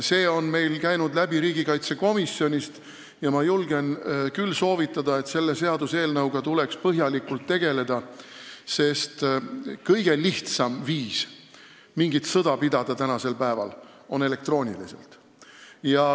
See on käinud läbi riigikaitsekomisjonist ja ma julgen küll soovitada selle seaduseelnõuga põhjalikult tegeleda, sest kõige lihtsam viis mingit sõda pidada on tänapäeval elektrooniline.